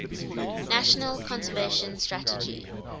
national conservation strategy